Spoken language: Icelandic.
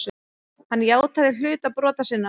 Hann játaði hluta brota sinna.